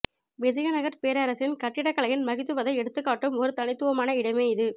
விஜயநகர் பேரரசின் கட்டிட கலையின் மகித்துவதை எடுத்துக்காட்டும் ஒரு தனித்துவமான இடமே இது